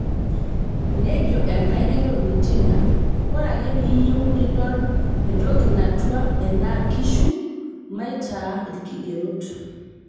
nejo enkaigeroni Tina, " ore ake peyieu nidol entoki natua ena kishu, maitaa ilkigerot"